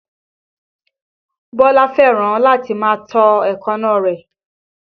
Bólú fẹ́ràn láti máa tọ́ èékánná rẹ̀